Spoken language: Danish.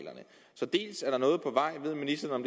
så ved ministeren